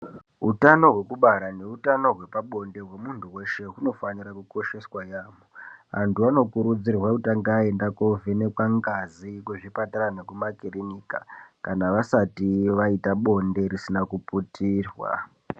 Utano hwekubara neutano hwepabonde hwemunthu weshe hunofanire kukosheswa yaampho. Anthu anokurudzirwa kutanga vaenda koovhenekwa ngazi kuzvipatara nekumakiriniki kana vasati vaita bonde risina kuputirwa.